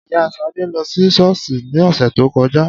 Ìyá Ṣadé lọ sí ṣọ́ọ́ṣì ní ọ̀sẹ̀ tó kọjá